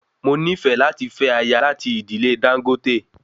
Mo nifẹ láti fẹ aya lati idile Dangote